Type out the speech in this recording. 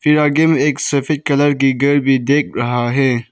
यह एक सफेद कलर का घर भी देख रहा है।